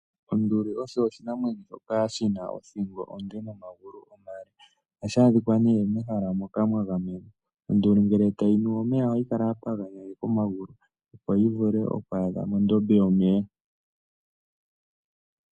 Onduli osho oshinamwenyo shoka shi na othingo onde nomagulu omale. Ohashi adhika nee mehala moka mwa gamenwa. Onduli ngele tayi nu omeya ohayi kala ya paganyananeka omagulu, opo yi vule oku adha mondombe yomeya.